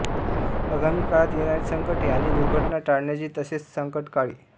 आगामी काळात येणारी संकटे आणि दुर्घटना टाळण्याची तसेच संकटकाळी